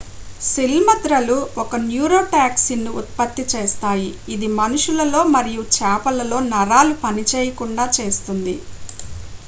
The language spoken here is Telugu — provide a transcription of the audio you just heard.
సిల్మద్రలు ఒక న్యూరోటాక్సిన్ను ఉత్పత్తి చేస్తాయి ఇది మనుషులలో మరియు చేపలలో నరాలు పనిచేయకుండా చేస్తుంది